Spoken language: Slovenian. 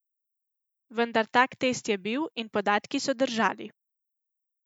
Vendar tak test je bil in podatki so držali.